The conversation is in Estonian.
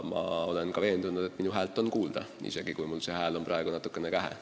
Üldiselt olen veendunud, et minu häält on kuulda, isegi kui mul see hääl praegu on natukene kähe.